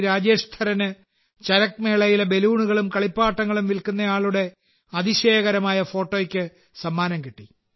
രാജേഷ് ധരന് ചരക് മേളയിലെ ബലൂണുകളും കളിപ്പാട്ടങ്ങളും വിൽക്കുന്നയാളുടെ അതിശയകരമായ ഫോട്ടോയ്ക്ക് സമ്മാനം കിട്ടി